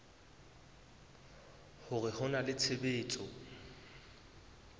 hore ho na le tshebetso